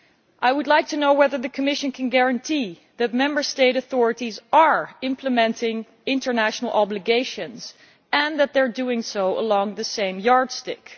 I would like to know whether the Commission can guarantee that Member State authorities are implementing international obligations and doing so using the same yardstick.